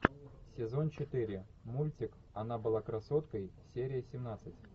сезон четыре мультик она была красоткой серия семнадцать